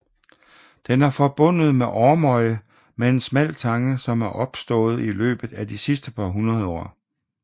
Den er forbundet med Ormøy med en smal tange som er opstået i løbet af de sidste par hundrede år